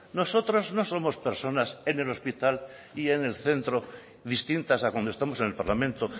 nosotros no somos personas en el hospital y en el centro distintas a cuando estamos en el parlamento